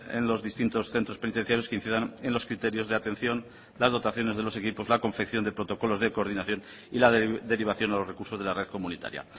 en los distintos centros penitenciarios que incidan en los criterios de atención las dotaciones de los equipos la confección de protocolos de coordinación y la derivación a los recursos de la red comunitaria